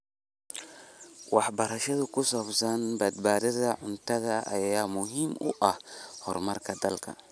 Waxbarashada ku saabsan badbaadada cuntada ayaa muhiim u ah horumarka dalka.